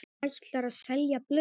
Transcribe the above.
Ætlarðu að selja blöð?